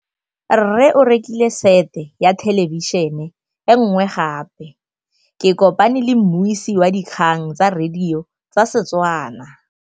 Rre o rekile sete ya thêlêbišênê e nngwe gape. Ke kopane mmuisi w dikgang tsa radio tsa Setswana.